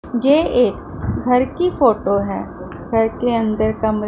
जे एक घर की फोटो है घर के अंदर का मु--